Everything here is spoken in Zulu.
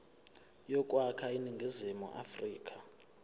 yokwakha iningizimu afrika